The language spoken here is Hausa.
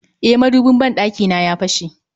E, madubin ban ɗakina ya fashe